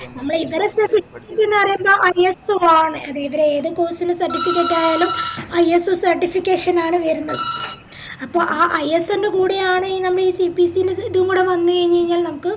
നമ്മളെ ഇവരെ പറയുമ്പോ ISO ആണ് അത് ഇവരെ ഏത് course ൻറെ certificate ആയാലും ISOcertification ആണ് വേര്ന്നത് അപ്പൊ ആഹ് ISO ൻറെ കൂടെ ആണ് ഈ CPC ഇതും കൂടെ വന്ന് കയിഞ്ഞയിഞ്ഞ നമക്ക്